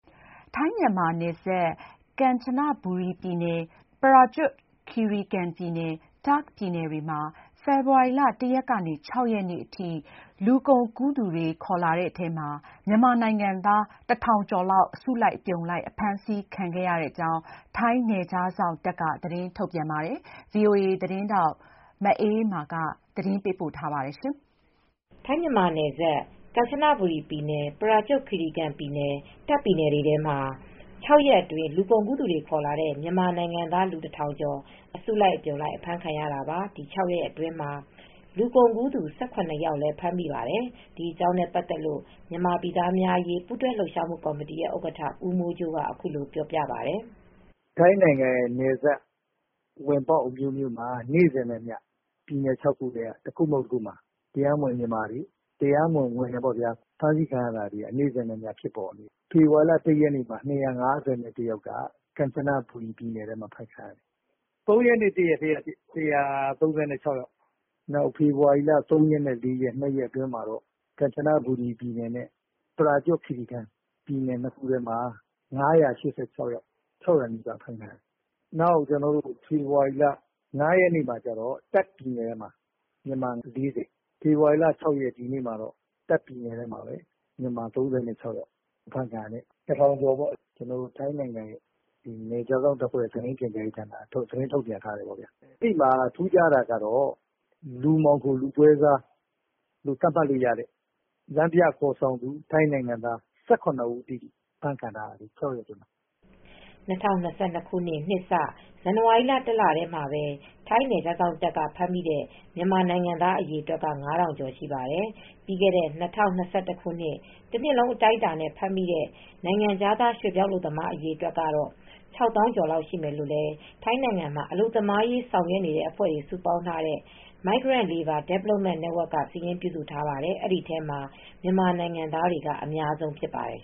ထိုင်း-မြန်မာနယ်စပ် ကမ်ချနဘူရီပြည်နယ်၊ ပရာကျွတ်ခီရီကန်ပြည်နယ်၊ တာ့ခ်ပြည်နယ်တွေထဲမှာ ဖေဖော်ဝါရီလ ၁ ရက်နေ့က ၆ ရက်နေ့ထိ လူကုန်ကူးသူတွေ ခေါ်လာတဲ့ မြန်မာနိုင်ငံသား ၁,၀၀၀ ကျော်လောက် အစုလိုက်အပြုံလိုက် အဖမ်းခံခဲ့ရကြောင်း ထိုင်းနယ်ခြားစောင့်တပ်က သတင်းထုတ်ပြန်ပါတယ်။ အပြည့်အစုံကို ဗွီအိုအေသတင်းထောက် မအေးအေးမာ သတင်းပေးပို့ထားပါတယ်။ ထိုင်း-မြန်မာနယ်စပ် ကမ်ချနဘူရီပြည်နယ်၊ ပရာကျွတ်ခီရီကန်ပြည်နယ်၊ တာ့ခ်ပြည်နယ်တွေထဲမှာ ၆ ရက်အတွင်း လူကုန်ကူးသူတွေ ခေါ်လာတဲ့ မြန်မာနိုင်ငံသား ၁,၀၀၀ ကျော် အစုလိုက်အပြုံလိုက် အဖမ်းခံရတာပါ။ ဒီ ၆ ရက်အတွင်းမှာ လူကုန်ကူးသူ ၁၇ ယောက်လည်း ဖမ်းမိပါတယ်။ ဒီအကြောင်းနဲ့ပတ်သက်လို့ မြန်မာပြည်သားများအရေး ပူးတွဲလှုပ်ရှားမှုကော်မတီ ဥက္ကဋ္ဌ ဦးမိုးကြိုးက အခုလိုပြောပါတယ်။ “ထိုင်းနိုင်ငံရဲ့ နယ်စပ်ဝင်ပေါက် အမျိုးမျိုးမှာ နေ့စဉ်နဲ့အမျှ ပြည်နယ် ၆ ခုထဲက ပြည်နယ်တခုခုမှာ မြန်မာတွေ တရားမဝင် ဝင်တယ်ပေါ့ဗျာ၊ ဖမ်းဆီးခံရမှုတွေက နေ့စဉ် ဖြစ်ပေါ်နေတယ်။ ဖေဖော်ဝါရီလ ၁ ရက်နေ့မှာ ၂၅၁ ယောက် ကမ်ချနဘူရီပြည်နယ်မှာ အဖမ်းခံရတယ်။ ၃ ရက်နေ့ တရက်တည်းမှာပဲ ၁၃၆ ယောက်၊ ဖေဖော်ဝါရီလ ၃ ရက်နေ့နဲ့ ၄ ရက်နေ့မှာပဲ ကမ်ချနဘူရီပြည်နယ်နဲ့ ပရာကျွတ်ခီရီကန် ပြည်နယ်ထဲမှာတော့ ၅၈၆ ယောက်၊ ၆၀၀ နီးပါး အဖမ်းခံရတယ်။ ဖေဖော်ဝါရီလ ၅ ရက်နေ့မှာ တာ့ခ်ပြည်နယ်မှာ လူ ၄၀ အဖမ်းခံရတယ်။ ဒီနေ့ ဖေဖော်ဝါရီလ ၆ ရက်နေ့မှာတော့ တာ့ခ်ပြည်နယ်မှာပဲ လူ ၃၆ ယောက် အဖမ်းခံရတယ်။ လူ ၁,၀၀၀ ကျော်ပေါ့။ ထိုင်းနယ်ခြားစောင့်တပ်ရင်းရဲ့ သတင်းနဲ့ ပြန်ကြားရေးက ထုတ်ပြန်ထားပါတယ်။ အဲဒီထဲမှာ လူမှောင်ခိုပွဲစား ၁၇ ယောက် အဖမ်းခံထားရပါတယ်။” ၂၀၂၂ ခုနှစ် နှစ်စ ဇန်နဝါရီလ တလတည်းမှာပဲ ထိုင်းနယ်ခြားစောင့်တပ်က ဖမ်းမိတဲ့ မြန်မာနိုင်ငံသား အရေအတွက်က ၅,၀၀၀ ကျော်ရှိပါတယ်။ ပြီးခဲ့တဲ့ ၂၀၂၁ တနှစ်လုံးအတိုင်းအတာနဲ့ ဖမ်းမိတဲ့ နိုင်ငံခြား ရွှေ့ပြောင်းအလုပ်သမား အရေအတွက် ၆၀,၀၀၀ ကျော်လောက်ရှိမယ်လို့လည်း ထိုင်းနိုင်ငံမှာ အလုပ်သမားရေး ဆောင်ရွက်နေတဲ့ အဖွဲ့တွေ စုပေါင်းထားတဲ့ Migrant Labour Development Network က စာရင်းပြုစုထားပါတယ်။ အဲဒီထဲမှာ မြန်မာနိုင်ငံသားတွေက အများဆုံးဖြစ်ပါတယ်